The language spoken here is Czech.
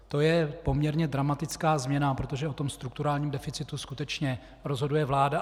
To je poměrně dramatická změna, protože o tom strukturálním deficitu skutečně rozhoduje vláda.